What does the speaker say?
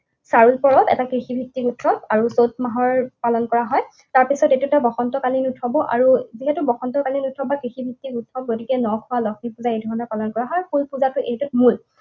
চাৰুল পৰৱ এটা কৃষিভিত্তিক উৎসৱ আৰু চত মাহৰ পালন কৰা হয়। তাৰপিছত এইটো এটা বসন্তকালীন উৎসৱ, যিহেতু বসন্তকালীন উৎসৱ বা কৃষিভিত্তিক উৎসৱ, গতিকে নখোৱা, লক্ষীপূজা এইধৰণেৰে পালন কৰা হয়। কুলপূজাটো এইটোত মূল।